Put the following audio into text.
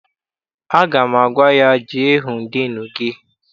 Aga m agwa ya, jee hụ diinu gị!